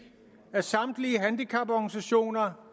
af samtlige handicaporganisationer